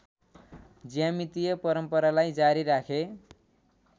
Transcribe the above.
ज्यामितीय परम्परालाई जारी राखे